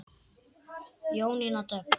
Jónína Dögg.